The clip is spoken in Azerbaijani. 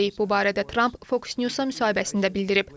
Bu barədə Tramp Fox News-a müsahibəsində bildirib.